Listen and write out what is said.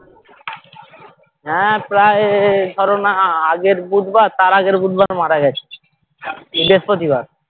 হ্যাঁ প্রায় ধরো না আগের বুধবার তার আগের বুধবার মারা গেছে বৃহস্পতিবার